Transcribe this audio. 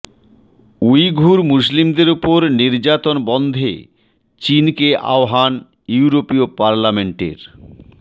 Uyghur মুসলিমদের ওপর নির্যাতন বন্ধে চীনকে আহ্বান ইউরোপীয় পার্লামেন্টের